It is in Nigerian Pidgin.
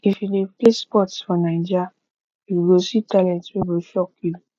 if you dey play sports for naija you go see talent wey go shock you